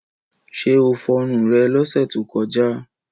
Ṣé o fọrun rẹ lọ́sẹ̀ tó kọjá?